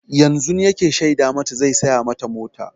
Yanzun yake shaida mata zai saya mata mota.